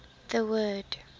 the word